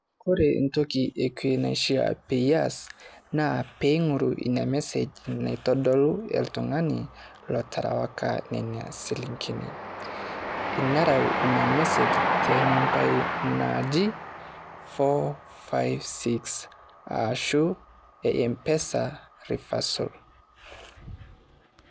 Ore entoki ekue naifaa pee eas naa ing'oru ina message naitodolu oltung'ani loterewaka nena shilingini. Nereu ina message too nambai naaji four, five, six ashu m-pesa reversal.